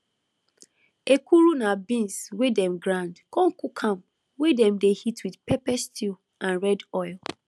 ekuru na beans wey dem grind con cook am wey dem dey eat with pepper stew and red oil